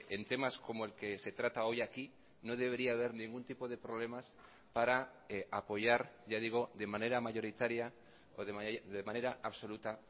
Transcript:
en temas como el que se trata hoy aquí no debería haber ningún tipo de problemas para apoyar ya digo de manera mayoritaria o de manera absoluta